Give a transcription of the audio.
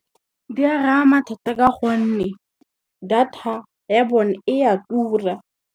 Di a rama thata ka gonne, data ya bone e a tura.